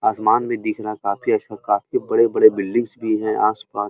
आसमान भी दिख रहा है काफी अच्छा। काफी बड़े-बड़े बिल्डिंग्स भी हैं आस-पास।